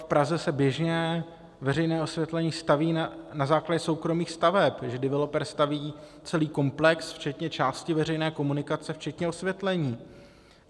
V Praze se běžně veřejné osvětlení staví na základě soukromých staveb, kdy developer staví celý komplex včetně části veřejné komunikace včetně osvětlení.